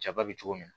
Jaba be cogo min na